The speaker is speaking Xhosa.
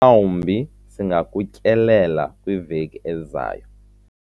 mhlawumbi singakutyelela kwiveki ezayo